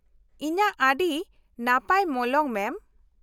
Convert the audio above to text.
ᱤᱧᱟᱹᱜ ᱟᱹᱰᱤ ᱱᱟᱯᱟᱭ ᱢᱚᱞᱚᱝ ᱢᱮᱢ ᱾